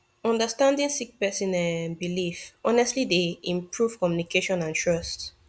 understanding sik person um bilif honestly dey improve communication and trust